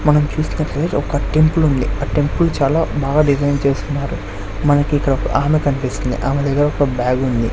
మనం చూస్తున్నట్లే ఒక టెంపుల్ ఉంది ఆ టెంపుల్ చాలా బాగా డిమాండ్ చేస్తున్నారు మనకి ఇక్కడొక ఆమె కన్పిస్తుంది ఆమె దగ్గర ఒక బాగ్ ఉంది.